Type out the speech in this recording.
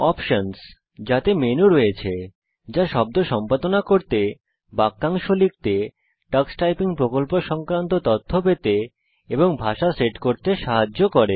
options - যাতে menu রয়েছে যা শব্দ সম্পাদনা করতে বাক্যাংশ লিখতে টক্স টাইপিং প্রকল্প সংক্রান্ত তথ্য পেতে এবং ভাষা সেট করতে সাহায্য করে